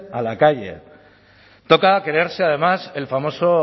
a la calle toca creerse además el famoso